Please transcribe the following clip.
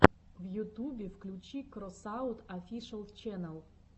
в ютубе включи кросаут офишэл ченел